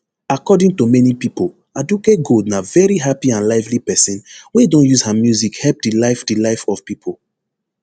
according to many pipo aduke gold na veri happy and lively pesin wey don use her music help di life di life of pipo